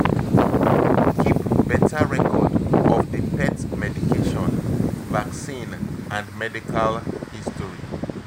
Keep better record of di pet medication, vaccine and medical history